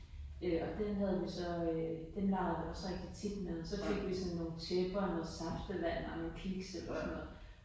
Øh og den havde vi så øh den legede vi også rigtig tit med så fik vi sådan nogle tæpper, noget saftevand eller nogle kiks eller sådan noget